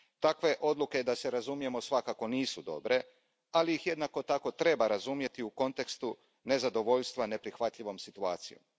Takve odluke, da se razumijemo, svakako nisu dobre, ali ih jednako tako treba razumjeti u kontekstu nezadovoljstva neprihvatljivom situacijom.